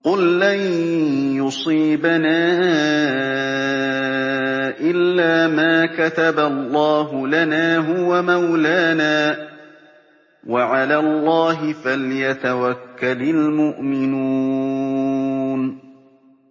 قُل لَّن يُصِيبَنَا إِلَّا مَا كَتَبَ اللَّهُ لَنَا هُوَ مَوْلَانَا ۚ وَعَلَى اللَّهِ فَلْيَتَوَكَّلِ الْمُؤْمِنُونَ